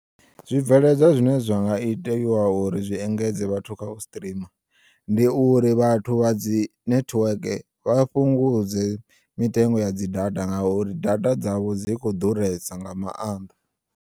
Zwibveledzwa zwine zwinga itiwa uri zwi engedze vhathu kha u strima, ndi uri vhathu vha dzi nethiweke vha fhungudze mitengo ya dzi data nga uri data dzavho dzi kho ḓuresa nga maanḓa.